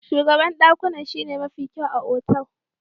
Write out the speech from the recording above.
Shugaban dakunan shine mafi kyau a otal.